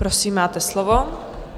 Prosím, máte slovo.